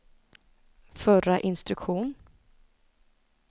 förra instruktion